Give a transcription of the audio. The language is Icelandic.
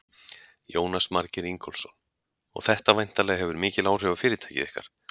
Jónas Margeir Ingólfsson: Og þetta væntanlega hefur mikil áhrif á fyrirtækið ykkar?